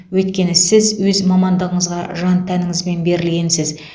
өйткені сіз өз мамандығыңызға жан тәніңізбен берілгенсіз